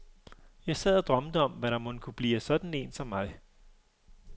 Jeg sad og drømte om, hvad der mon kunne blive af sådan en som mig.